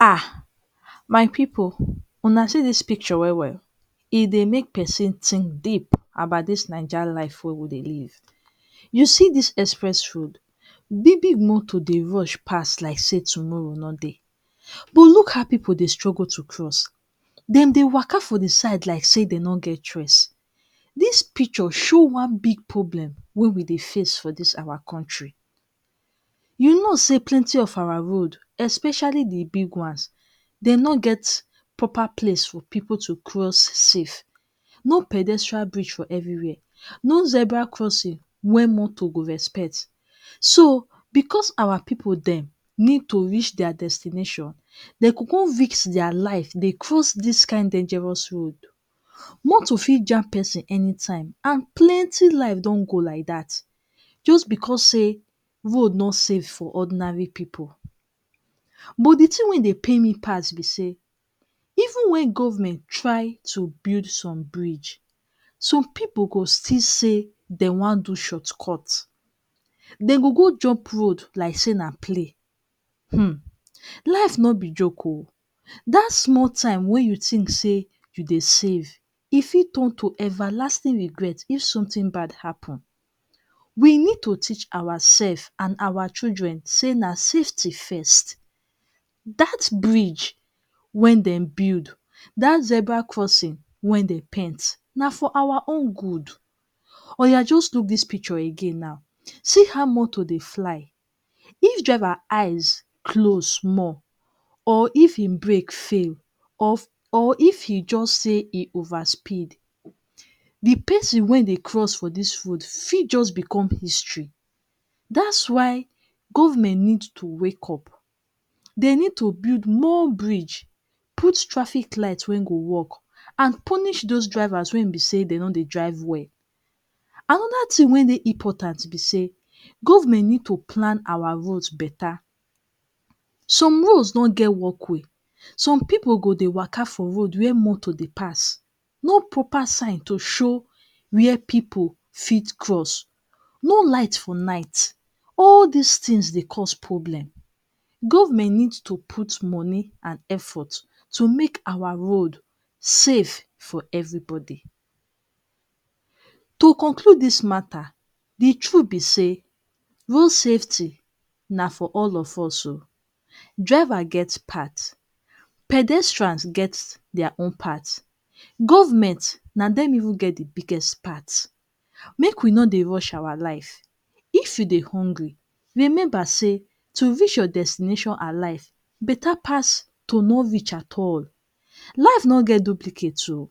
um my pipu una see dis picture well well e dey make person think deep about dis Naija life wey we dey live. You see dis express road big big motor dey rush pass like say tomorrow nor dey but look how pipu dey struggle to cross dem dey walker for de side like say dem nor get choice. Dis picture show one big problem wey we dey face for dis our country, you know say plenty of our roads especially de big ones dem nor get proper place for pipu to cross safe no pedestal bridge for everywhere, no zebra crossing wey motor go respect so, because our pipu dem need to reach their destination dem go come risk their life dey cross dis kind dangerous road, motor fit jam person anytime and plenty life don go like dat just because say road nor safe for ordinary pipu but de thing wey dey pain me pass be say even when government try to build some bridge some pipu go still say dem wan do short cut dem go, go jump road like say na play um life nor be joke oh dat small time wey you think say you dey save e fit turn to everlasting regret if something bad happen we need to teach ourself and our children say na safety first that bridge wey dem build, dat zebra crossing wey dem paint na for our own good oya just look dis picture again now, see how motor dey fly if driver eyes close small or if e break fail or if e just say e over speed de person wey dey cross for dis road fit just become history dat is why government need to wake up dey need to build more bridge put traffic light wey go work and punish those drivers wey be say dem nor dey drive well another thing wey important be say government need to plan our roads better some roads nor get walk way some pipu go dey waka for road wey motor dey pass no proper sign to show where pipu fit cross no light for night all these things dey cause problem government need to put money and effort to make our road safe for everybody to complete dis matter, de truth be say road safety na for all of us oh driver get part, pedestal get their own part, government na dem really get de biggest part make we nor dey rush our life if you dey hungry remember say to reach your destination and life better pass to nor reach at all life nor get duplicate oh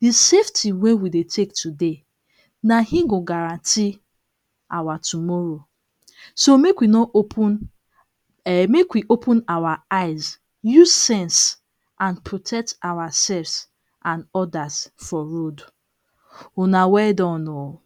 de safety wey we dey take today na him go guarantee our tomorrow so make we nor open um make we open our eyes use sense and protect ourselves and others for road. Una well done oh!